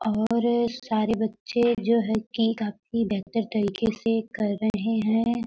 और सारे बच्चे जो है की काफी बेहतर तरीके से कर रहे हैं।